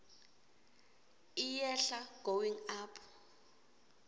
iyehla going up